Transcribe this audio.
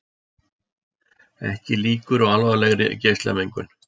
Ekki líkur á alvarlegri geislamengun